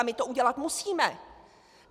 A my to udělat musíme.